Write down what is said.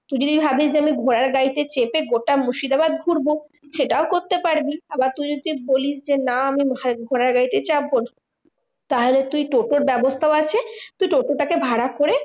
তুই যদি ভাবিস যে আমি ঘোড়ার গাড়িতে চেপে গোটা মুর্শিদাবাদ ঘুরবো সেটাও করতে পারবি। আবার তুই যদি বলিস যে না আমি ঘোড়ার গাড়িতেই চাপবো তাহলে তুই টোটোর ব্যাবস্থাও আছে তুই টোটো টা কে ভাড়া করে